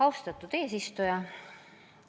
Austatud eesistuja!